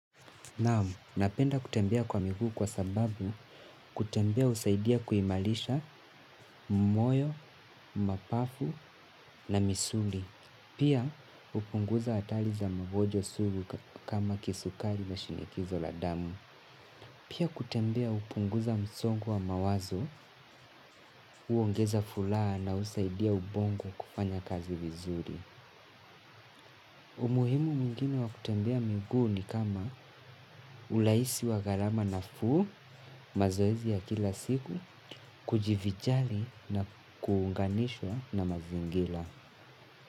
Naam, napenda kutembea kwa miguu kwa sababu kutembea husaidia kuimalisha moyo, mapafu na misuli. Pia hupunguza hatali za magonjwa sugu kama kisukari na shinikizo la damu. Pia kutembea hupunguza msongo wa mawazo uongeza fulaha na usaidia ubongo kufanya kazi vizuri. Umuhimu mwingine wa kutembea miguu ni kama ulahisi wagalama nafuu mazoezi ya kila siku kujivijali na kuunganishwa na mazingila.